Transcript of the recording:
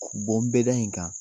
bɛda in kan.